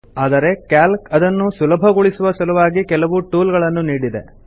ಆದರೆ ಕ್ಯಾಲ್ಕ್ ಅದನ್ನು ಸುಲಭಗೊಳಿಸುವ ಸಲುವಾಗಿ ಕೆಲವು ಟೂಲ್ ಗಳನ್ನು ನೀಡಿದೆ